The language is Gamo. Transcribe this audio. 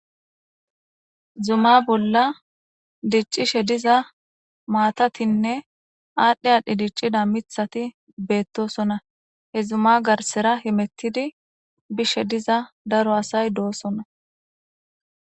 Zuma bola dic'ishe diza matatinne adhi adhi dic'ida mitati betosona he zuma garsera hemetidi bishe diza daro asay dosona.